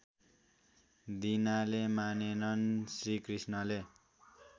दिनाले मानेनन् श्रीकृष्णले